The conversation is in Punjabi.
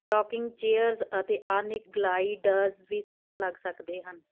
ਰੌਕਿੰਗ ਚੇਅਰਜ਼ ਅਤੇ ਆਧੁਨਿਕ ਗਲਾਈਡਰਜ਼ ਵੀ ਸੱਟ ਲੱਗ ਸਕਦੇ ਹਨ